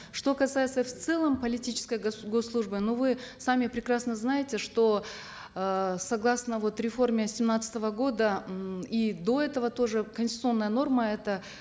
что касается в целом политической госслужбы но вы сами прекрасно знаете что эээ согласно вот реформе семнадцатого года м и до этого тоже конституционная норма это